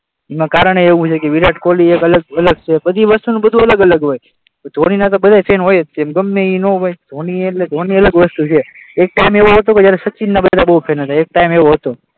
એનું કારણ પણ એવું છે વિરાટ કોહલી એ અલગ છે, બધી વસ્તુનું બધુ અલગ અલગ હોય, ધોનીના તો બધા ફેન હોય જ છે ગમે તે ના હોય, ધોની એટલે ધોની એક અલગ વસ્તુ છે, એક ટાઇમ એવો હતો કે જ્યારે સચિનના બધા બહુ ફેન હતા. એક ટાઇમ એવો હતો.